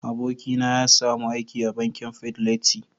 abokin na ya samu aiki a bankin " fidelity".